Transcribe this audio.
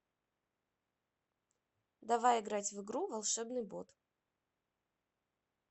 давай играть в игру волшебный бот